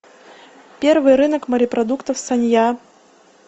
первый рынок морепродуктов санья